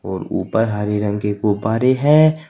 ओर ऊपर हरे रंग की गुब्बारे है।